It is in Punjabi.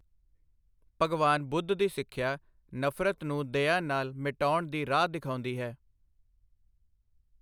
ਭਗਵਾਨ ਬੁੱਧ ਦੀ ਸਿੱਖਿਆ, ਨਫ਼ਰਤ ਨੂੰ, ਦਇਆ ਨਾਲ ਮਿਟਾਉਣ ਦੀ ਰਾਹ ਦਿਖਾਉਦੀ ਹੈ।